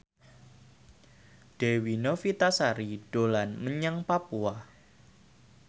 Dewi Novitasari dolan menyang Papua